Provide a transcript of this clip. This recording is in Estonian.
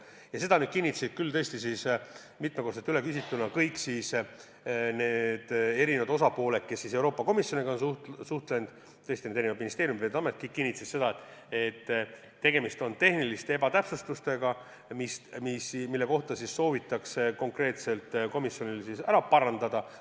Ja seda kinnitasid küll tõesti – mitmekordselt üle küsituna – kõik osapooled, kes Euroopa Komisjoniga on suhelnud – eri ministeeriumid ja Veeteede Amet –, et tegemist on tehniliste ebatäpsustega, mis soovitatakse komisjonil konkreetselt ära parandada.